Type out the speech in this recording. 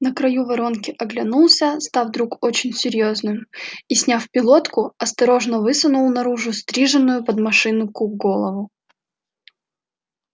на краю воронки оглянулся став вдруг очень серьёзным и сняв пилотку осторожно высунул наружу стриженную под машинку голову